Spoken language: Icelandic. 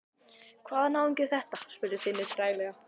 Hvaða náungi er þetta? spurði Finnur treglega.